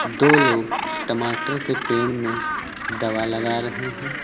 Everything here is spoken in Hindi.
दो लोग टमाटर के पेड़ में दवा लगा रहे हैं।